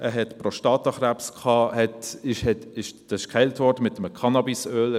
Er hatte Prostatakrebs, wurde mit einem Cannabis-Öl geheilt.